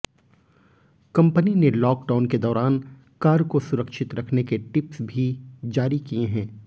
company ने lockdown के दौरान कार को सुरक्षित रखने के टिप्स भी जारी किये हैं